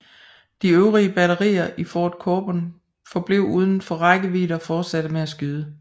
De øvre batterier i Fort Cobun forblev udenfor rækkevidde og fortsatte med at skyde